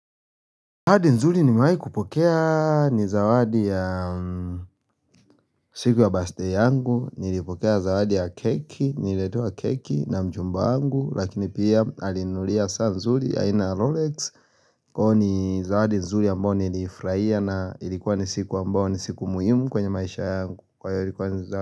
Zawadi nzuri nimewai kupokea ni zawadi ya siku ya bastei yangu, nilipokea zawadi ya keki, nililetewa keki na mchumba wangu, lakini pia alinunulia saa nzuri aina ya Rolex. Kwao ni zawadi nzuri ambao nilifuraia na ilikuwa ni siku ambao ni siku muhimu kwenye maisha yangu. Kwa hiyo ilikuwa ni zawadi.